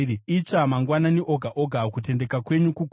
Itsva mangwanani oga oga, kutendeka kwenyu kukuru.